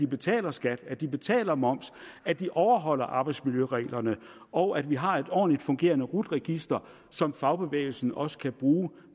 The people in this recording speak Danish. betaler skat at de betaler moms at de overholder arbejdsmiljøreglerne og at vi har et ordentligt fungerende rut register som fagbevægelsen også kan bruge